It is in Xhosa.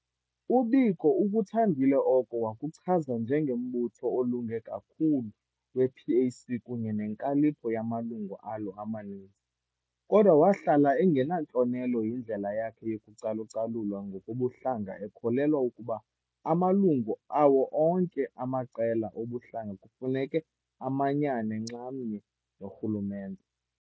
UBiko ukuthandile oko wakuchaza njenge "mbutho olunge kakhulu" wePAC kunye nenkalipho yamalungu alo amaninzi, kodwa wahlala engenantlonelo yindlela yakhe yokucalucalulwa ngokobuhlanga, ekholelwa ukuba amalungu awo onke amaqela obuhlanga kufuneka amanyane nxamnye norhulumente.